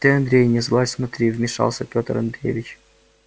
ты андрей не сглазь смотри вмешался пётр андреевич